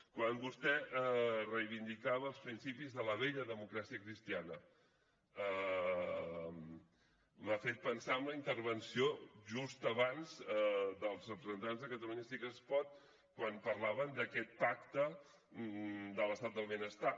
quan vostè reivindicava els principis de la vella democràcia cristiana m’ha fet pensar en la intervenció just abans dels representants de catalunya sí que es pot quan parlaven d’aquest pacte de l’estat del benestar